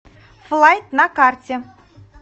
флайт на карте